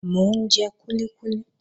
Mò ń jẹ kúlíkúlí.